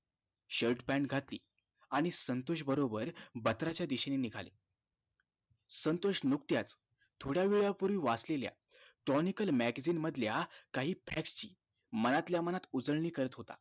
shirt pant घातली आणि संतोष बरोबर बत्रा च दिशेनी निघाले संतोष नुकत्याच थोडा वेळा पूर्वी वाचलेल्या tonical magzine मधल्या काहि facts शी मनातल्या मनात उजळणी करत होता